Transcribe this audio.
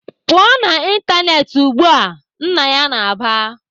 "Pụọ na Facebook ugbu a!" Nna ya na-aba.